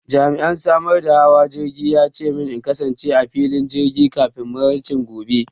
Jami'in samar da damar hawa jirgi ya ce min in kasance a filin jirgi kafin maraice gobe.